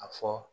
A fɔ